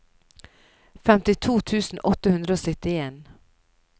femtito tusen åtte hundre og syttien